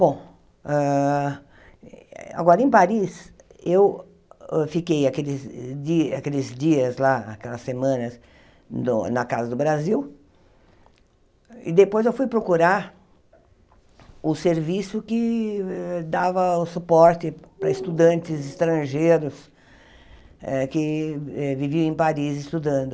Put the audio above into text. Bom, hã agora, em Paris, eu fiquei aqueles di aqueles dias lá, aquelas semanas, no na Casa do Brasil, e depois eu fui procurar o serviço que dava o suporte para estudantes estrangeiros eh que eh viviam em Paris estudando.